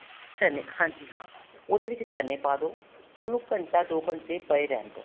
ਚਨੇ ਹਾਂਜੀ ਹਾਂ ਉਹਦੇ ਵਿੱਚ ਚਨੇ ਪਾ ਦੋ ਉਹਨੂੰ ਘੰਟਾ ਦੋ ਘੰਟੇ ਪਏ ਰਹਿਣ ਦੋ